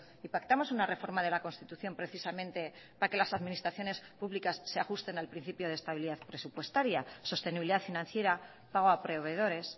y pactamos una reforma de la constitución precisamente para que las administraciones publicas se ajusten al principio de estabilidad presupuestaria sostenibilidad financiera pago a proveedores